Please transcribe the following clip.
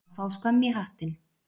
Að fá skömm í hattinn